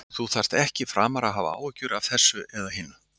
Þú þarft ekki framar að hafa áhyggjur af þessu eða hinu.